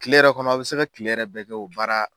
Kile yɛrɛ kɔnɔ a be se ka kile yɛrɛ bɛɛ kɛ o baara